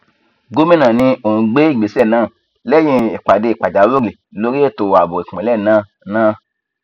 gomina ní òún gbé ìgbésẹ náà lẹyìn ìpàdé pàjáwìrì lórí ètò ààbò ìpínlẹ náà náà